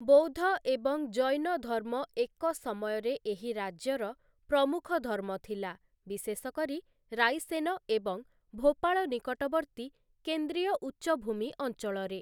ବୌଦ୍ଧ ଏବଂ ଜୈନ ଧର୍ମ ଏକ ସମୟରେ ଏହି ରାଜ୍ୟର ପ୍ରମୁଖ ଧର୍ମ ଥିଲା, ବିଶେଷ କରି ରାଇସେନ ଏବଂ ଭୋପାଳ ନିକଟବର୍ତ୍ତୀ କେନ୍ଦ୍ରୀୟ ଉଚ୍ଚଭୂମି ଅଞ୍ଚଳରେ ।